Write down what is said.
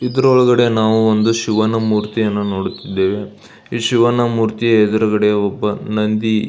ಇದರ ಒಳಗಡೆ ನಾವು ಒಂದು ಶಿವನ ಮೂರ್ತಿಯನ್ನು ನೋಡುತ್ತಿದ್ದೇವೆ ಶಿವನ ಮೂರ್ತಿಯ ಎದುರುಗಡೆ ಒಬ್ಬ ನಂದಿ --